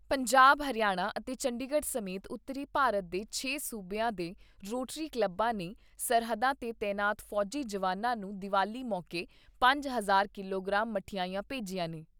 ਪੰਜਾਬ, ਹਰਿਆਣਾ ਅਤੇ ਚੰਡੀਗੜ੍ਹ ਸਮੇਤ ਉਤਰੀ ਭਾਰਤ ਦੇ ਛੇ ਸੂਬਿਆਂ ਦੇ ਰੋਟਰੀ ਕਲੱਬਾਂ ਨੇ ਸਰਹੱਦਾਂ ਤੇ ਤਾਇਨਾਤ ਫੌਜੀ ਜਵਾਨਾਂ ਨੂੰ ਦੀਵਾਲੀ ਮੌਕੇ ਪੰਜ ਹਜ਼ਾਰ ਕਿਲੋਗ੍ਰਾਮ ਮਠਿਆਈਆਂ ਭੇਜੀਆਂ ਨੇ।